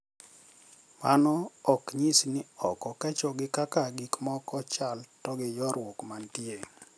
Mano ok nyis ni ok okecho gi kaka gikmoko chal to gi ywaruok mantie